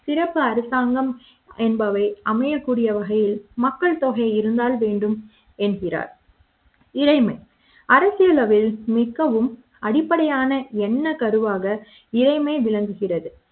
திறப்பு அரசாங்க ம் என்பவை அமைய க்கூடிய வகையில் மக்கள் தொகை இருந்தால் வேண்டும் என்கிறார் இறைமை அரசிலவையில் மிகவும் அடிப்படையான என்ன கருவாக இறைமை விளங்குகிறது